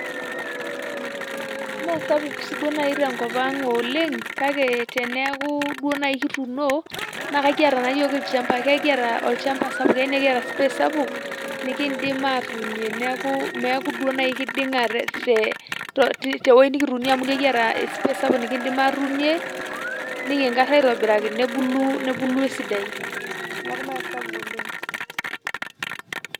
Meesapuk siiduo naaji tenkop oleng kake teneeku duo naaji kituuno naa ekiata naayiok ilchambai ekiata olchamba sapuk naa ekiata space sapuk nikiindim aatuunie neeku meeku duo naaji keiding'a te tewoi nikituunie amu ekiata space sapuk nikiindim aatuunie nikinkar aitobiraki nebulu esidai neeku meesapuk oleng.